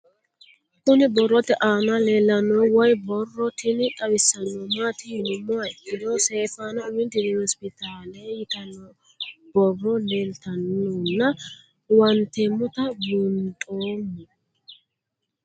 Kuni boroote aana leelanohu woyi boro tin xawisanohu maati yinumoha ikiro seyfaana umi dirim hosipitaale yitano boro lelitanona huwantemota buunxeemo?